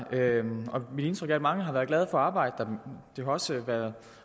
mit indtryk er at mange har været glade for arbejde der det har også været